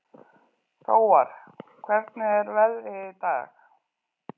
Hróar, hvernig er veðrið í dag?